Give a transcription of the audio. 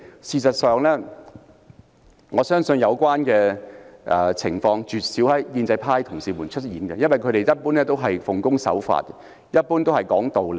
事實上，我相信有關情況絕少發生在建制派同事身上，因為他們一般是奉公守法和講道理的。